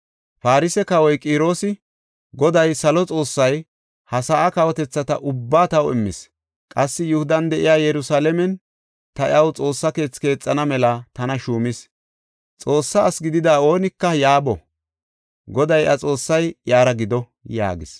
Farse kawoy Qiroosi, “Goday, salo Xoossay ha sa7aa kawotethata ubbaa taw immis. Qassi Yihudan de7iya Yerusalaamen ta iyaw Xoossa keethi keexana mela tana shuumis. Xoossa asi gidida oonika yaa boo. Goday iya Xoossay iyara gido” yaagis.